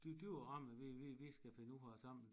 Det det jo rammen vi vi vi skal finde ud af sammen